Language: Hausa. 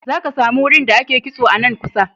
Za ka sami wurin da ake kitso a nan kusa.